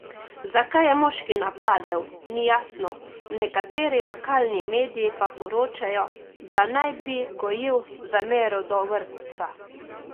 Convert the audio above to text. Zakaj je moški napadel, ni jasno, nekateri lokalni mediji pa poročajo, da naj bi gojil zamero do vrtca.